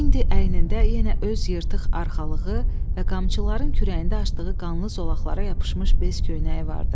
İndi əynində yenə öz yırtıq arxalığı və qamçıların kürəyində açdığı qanlı zolaqlara yapışmış bez köynəyi vardı.